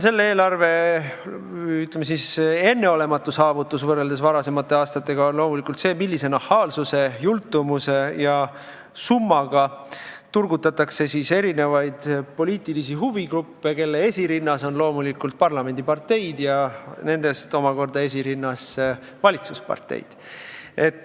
Selle eelarve enneolematu saavutus võrreldes varasemate aastatega on loomulikult see, millise nahaalsuse, jultumuse ja summadega turgutatakse poliitilisi huvigruppe, kelle esirinnas on muidugi parlamendiparteid ja nende seas omakorda esirinnas valitsusparteid.